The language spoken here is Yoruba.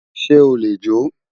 se o le jo?